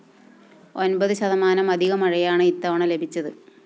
ഒന്‍പത് ശതമാനം അധിക മഴയാണ് ഇത്തവണ ലഭിച്ചത്